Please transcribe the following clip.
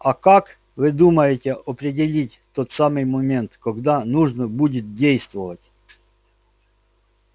а как вы думаете определить тот самый момент когда нужно будет действовать